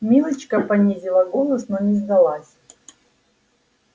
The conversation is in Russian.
милочка понизила голос но не сдалась